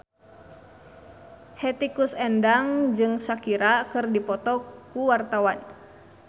Hetty Koes Endang jeung Shakira keur dipoto ku wartawan